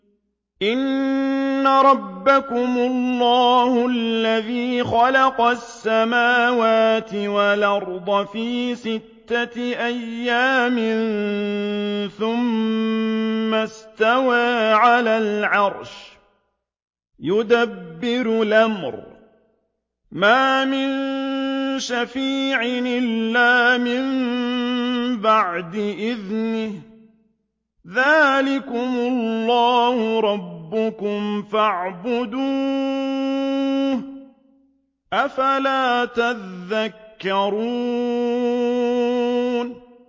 إِنَّ رَبَّكُمُ اللَّهُ الَّذِي خَلَقَ السَّمَاوَاتِ وَالْأَرْضَ فِي سِتَّةِ أَيَّامٍ ثُمَّ اسْتَوَىٰ عَلَى الْعَرْشِ ۖ يُدَبِّرُ الْأَمْرَ ۖ مَا مِن شَفِيعٍ إِلَّا مِن بَعْدِ إِذْنِهِ ۚ ذَٰلِكُمُ اللَّهُ رَبُّكُمْ فَاعْبُدُوهُ ۚ أَفَلَا تَذَكَّرُونَ